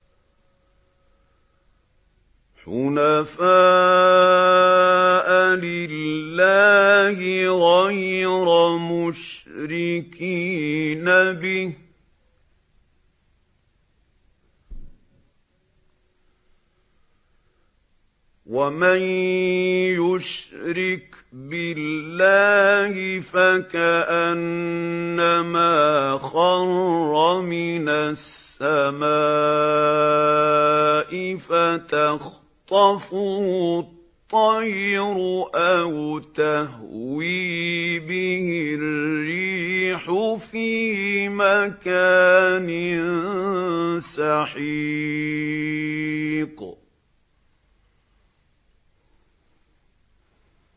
حُنَفَاءَ لِلَّهِ غَيْرَ مُشْرِكِينَ بِهِ ۚ وَمَن يُشْرِكْ بِاللَّهِ فَكَأَنَّمَا خَرَّ مِنَ السَّمَاءِ فَتَخْطَفُهُ الطَّيْرُ أَوْ تَهْوِي بِهِ الرِّيحُ فِي مَكَانٍ سَحِيقٍ